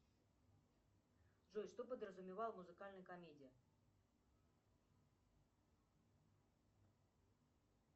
джой что подразумевал музыкальный комедия